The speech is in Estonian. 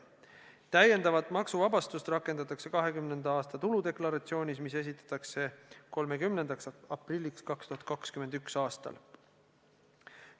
Täiendavat maksuvabastust rakendatakse 2020. aasta tuludeklaratsioonis, mis esitatakse 30. aprilliks 2021. aastal.